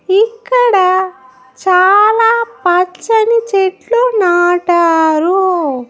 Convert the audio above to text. ఇక్కడ చాలా పచ్చని చెట్లు నాటారు.